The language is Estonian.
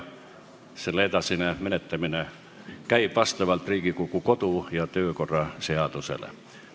Selle edasine menetlemine käib vastavalt Riigikogu kodu- ja töökorra seadusele.